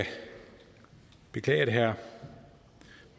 beklage at herre